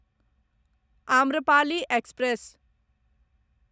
Amrapali express